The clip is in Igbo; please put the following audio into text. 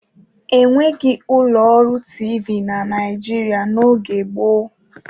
E nweghi ụlọ ọrụ TV na Naịjirịa n'oge gboo.